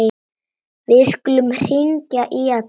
Við skulum hringja í Alla.